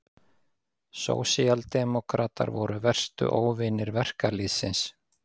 Sósíaldemókratar voru verstu óvinir verkalýðsins.